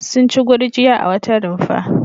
Sun ci gurjiya a wata rumfa.